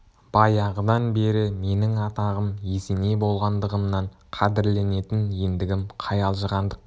баяғыдан бері менің атағым есеней болғандығымнан қадірленетін ендігім қай алжығандық